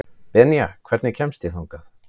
Benía, hvernig kemst ég þangað?